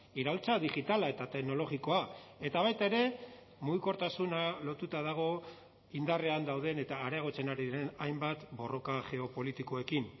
iraultza digitala eta teknologikoa eta baita ere mugikortasuna lotuta dago indarrean dauden eta areagotzen ari diren hainbat borroka geopolitikoekin